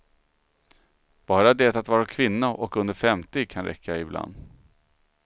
Bara det att vara kvinna och under femtio kan räcka ibland.